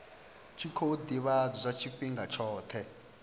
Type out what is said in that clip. tshi khou ḓivhadzwa tshifhinga tshoṱhe